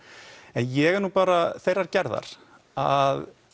ég er nú bara þeirrar gerðar að